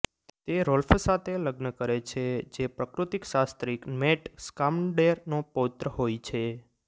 તે રોલ્ફ સાથે લગ્ન કરે છે જે પ્રકૃતિશાસ્ત્રીક ન્વેટ સ્કામનડેર નો પૌત્ર હોય છે